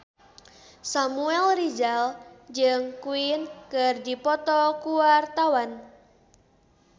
Samuel Rizal jeung Queen keur dipoto ku wartawan